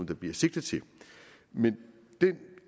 der bliver sigtet til men den